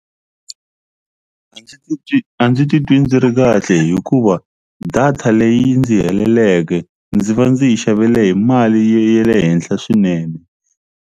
A ndzi titwi ndzi ri kahle hikuva data leyi ndzi heleleke ndzi va ndzi yi xavele hi mali ye ya le henhla swinene.